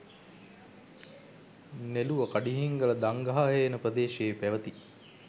නෙළුව කඩිහිංගල දංගහහේන ප්‍රදේශයේ පැවැති